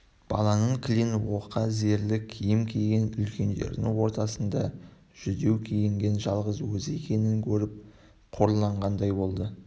бала кілең оқа-зерлі киім киген үлкендердің ортасында жүдеу киінген жалғыз өзі екенін көріп қорланғандай болды